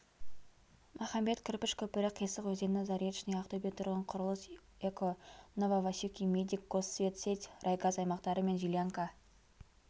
махамбет кірпіш көпірі қисық өзені заречный ақтөбетұрғынқұрылыс эко нововасюки медик госсветсеть райгаз аймақтары мен жилянка